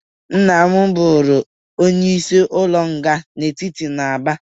Nna m bụrụ onyeisi ụlọ nga etiti n'Aba.